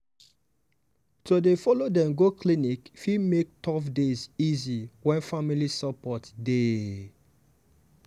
to dey follow dem go clinic fit make tough days easy when family support dey.